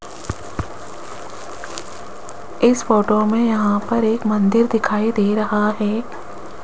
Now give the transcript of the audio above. इस फोटो में यहां पर एक मंदिर दिखाई दे रहा है।